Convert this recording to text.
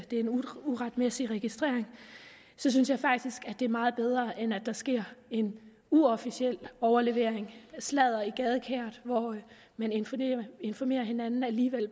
en uretmæssig registrering synes jeg faktisk er meget bedre end hvis der sker en uofficiel overlevering af sladder i gadekæret hvor man informerer informerer hinanden